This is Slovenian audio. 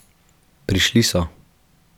Prišli so.